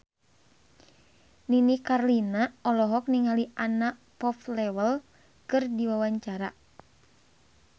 Nini Carlina olohok ningali Anna Popplewell keur diwawancara